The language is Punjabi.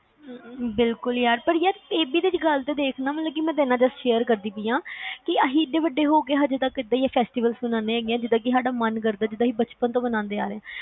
ਬਿਲਕੁਲ ਯਾਰ, ਯਾਰ ਇਹ ਭੀ ਗੱਲ ਤਾ ਦੇਖ ਮੈਂ ਤਾ ਤੇਰੇ ਨਾਲ just share ਕਰਦੀ ਪਾਇਆ ਕੇ ਅਸੀਂ ਇਨੇ ਵੱਡੇ ਹੋਗੇ ਹੋ ਕੇ ਇਦਾ ਹੀ festival ਮੰਨਦੇ ਹੈਗੇ ਜਿਦਾ ਸਾਡਾ ਮਨ ਕਰਦਾ ਹੈ ਜਿਦਾ ਸਾਡਾ ਮਨ ਜਿਵੇ ਅਸੀਂ ਬਚਪਨ ਤੋਂ ਮੰਨਦੇ ਆ ਰਹੇ ਆ